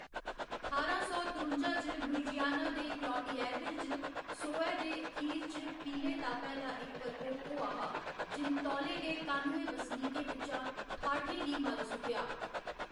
ठारां सौ त्रुंजा च, लुइजियाना दे क्लौटिएर्विल च, सोहै दे अखीर च पीले तापै दा इक प्रकोप होआ हा, जिन्न तौले गै कानुए बसनीकें बिच्चा ठाठें गी मारी सुट्टेआ।